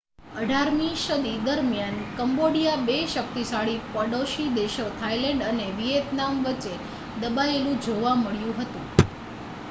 18મી સદી દરમિયાન કંબોડિયા બે શક્તિશાળી પડોશી દેશો થાઇલેન્ડ અને વિયેતનામ વચ્ચે દબાયેલું જોવા મળ્યું હતું